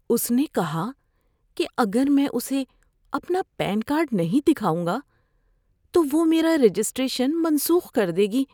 اس نے کہا کہ اگر میں اسے اپنا پین کارڈ نہیں دکھاؤں گا تو وہ میرا رجسٹریشن منسوخ کر دے گی۔